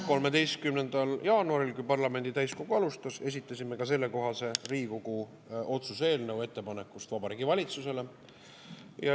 13. jaanuaril, kui parlamendi täiskogu alustas, esitasime ka sellekohase Riigikogu otsuse eelnõu ettepaneku Vabariigi Valitsusele.